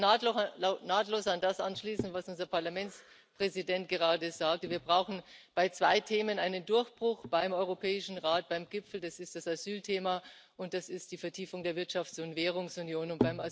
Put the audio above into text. Ich kann nahtlos an das anschließen, was unser Parlamentspräsident gerade sagte Wir brauchen bei zwei Themen einen Durchbruch beim Europäischen Rat, beim Gipfel Das ist das Asylthema, und das ist die Vertiefung der Wirtschafts und Währungsunion.